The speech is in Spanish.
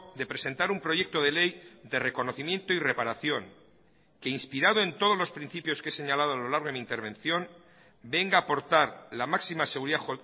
de presentar un proyecto de ley de reconocimiento y reparación que inspirado en todos los principios que he señalado a lo largo de mi intervención venga a aportar la máxima seguridad